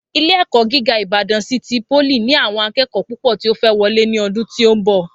Ilé èkó jìgá ìbàdàn sítí polì ní àwọn akẹẹkọ púpò tí o fẹ wọlé ní ọdún tí o nbọ